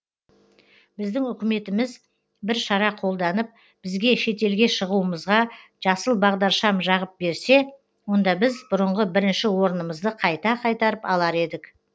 біздің үкіметіміз бір шара қолданып бізге шетелге шығуымызға жасыл бағдаршам жағып берсе онда біз бұрынғы бірінші орнымызды қайта қайтарып алар едік